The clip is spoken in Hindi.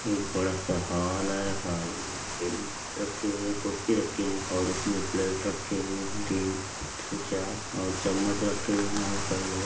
ये बड़ा सा हॉल है रखी हुई है कुर्सी रखी है और उसमें प्लेट रखी हुई है तीन से चार और चमच्च रखे हुए है और कई जगह--